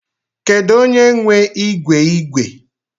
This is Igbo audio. Kedu onye nwe ígwè ígwè?